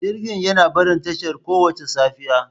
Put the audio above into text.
Jirgin yana barin tashar kowace safiya.